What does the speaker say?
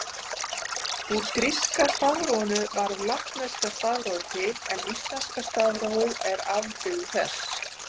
Úr gríska stafrófinu varð latneska stafrófið til en íslenska stafrófið er afbrigði þess.